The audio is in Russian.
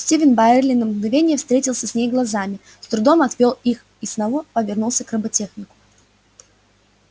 стивен байерли на мгновение встретился с ней глазами с трудом отвёл их и снова повернулся к роботехнику